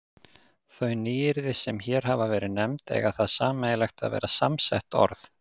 Þau nýyrði, sem hér hafa verið nefnd, eiga það sameiginlegt að vera samsett orð.